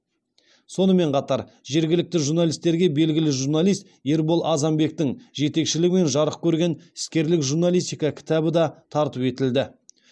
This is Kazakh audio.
сонымен қатар жергілікті журналистерге белгілі журналист ербол азанбектің жетекшілігімен жарық көрген іскерлік журналистика кітабы да тарту етілді